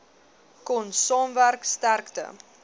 kon saamwerk sterkte